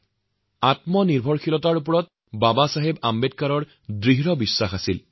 ড০ আম্বেদকাৰে স্বয়ংসম্পূৰ্ণতা আৰু আত্মনিৰ্ভৰতাত গভীৰভাবে বিশ্বাস কৰিছিল